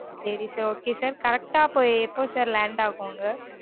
சரி sir okay sir correct அ அப்ப எப்பொ sir land ஆகும் அங்க